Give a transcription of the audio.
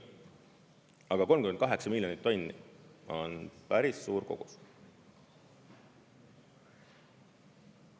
Aga 38 miljonit tonni on päris suur kogus.